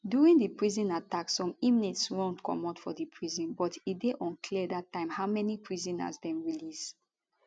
during di prison attack some inmates run comot for di prison but e dey unclear dat time how many prisoners dem release